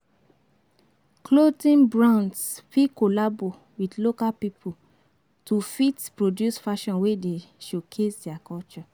Clothing brands fit collabo with local pipo to fit produce fashion wey dey showcase their culture